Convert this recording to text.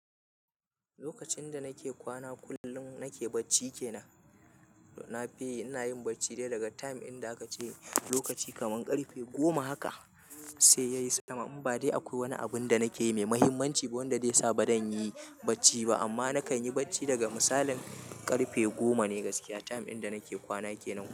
Lokacin da nake kwana kullum nake bacci kenan. Na fi ina yin bacci dai daga time inda aka ce lokaci kaman karfe goma haka sai yayi sama. Inba dai akwai wani abun da nake yi mai mahimmanci wanda zai sa ba zan yi bacci ba. Amma na kan yi bacci daga misalin karfe goma ne gaskiya time inda nake kwana kenan.